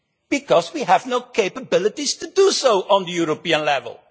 Because we have no capabilities to do so at European level.